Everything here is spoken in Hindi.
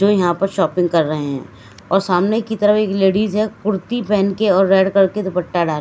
जो यहां पर शॉपिंग कर रहे हैं और सामने की तरफ एक लेडिस है कुर्ती पहन के और रेड कलर के दुपट्टा डाल--